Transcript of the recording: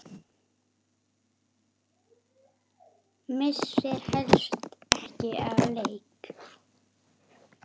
Missir helst ekki af leik.